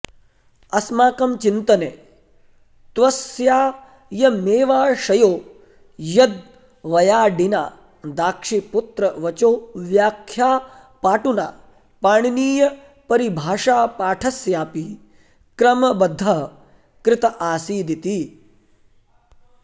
अस्माकं चिन्तने त्वस्यायमेवाशयो यद्वयाडिना दाक्षीपुत्रवचोव्याख्यापाटुना पाणिनीयपरिभाषापाठस्यापि क्रमबद्धः कृत आसीदिति